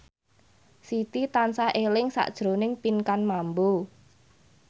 Siti tansah eling sakjroning Pinkan Mambo